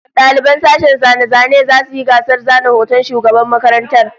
Daliban sashen zane-zanen zasu yi gasar zana hoton shugaban makarantar